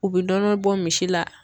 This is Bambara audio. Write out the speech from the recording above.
U bɛ nɔnɔ bɔ misi la.